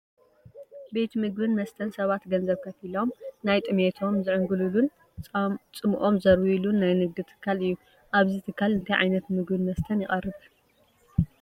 ቤት ምግብን መስተን ሰባት ገንዘብ ከፊሎም ናይ ጥምየቶም ዘዕንግሉሉን ፃምኦም ዘርውዩሉን ናይ ንግዲ ትካል እዩ፡፡ ኣብዚ ትኻል እንታይ ዓይነት ምግብን መስተን ይቐርብ?